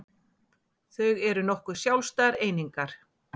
Þau eru nokkuð sjálfstæðar einingar